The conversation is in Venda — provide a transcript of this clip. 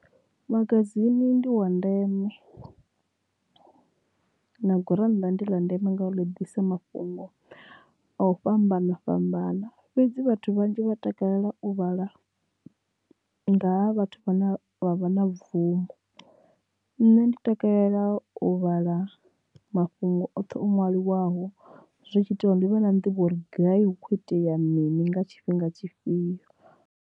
Magazine ndi wa ndeme na gurannḓa ndi ḽa ndeme nga ḽi ḓisa mafhungo a u fhambana fhambana fhedzi vhathu vhanzhi vha takalela u vhala ngaha vhathu vhane vha vha na bvumo nṋe ndi takalela u vhala mafhungo oṱhe o ṅwaliwaho zwi tshi ita uri ndi vha na nḓivho uri gai hu kho itea mini nga tshifhinga tshifhio.